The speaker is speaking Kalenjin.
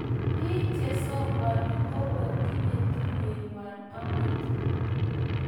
biik chesokoni ko kotinye tuyie ng'wany amut.